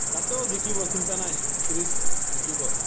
আকৌ জিকিব চিন্তা নাই, series জিকিব